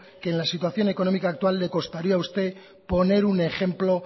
que en la situación económica actual le costaría a usted poner un ejemplo